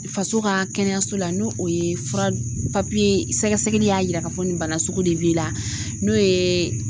Faso ka kɛnɛyaso la n'o o ye fura sɛgɛsɛgɛli y'a yira k'a fɔ nin bana sugu de b'i la n'o ye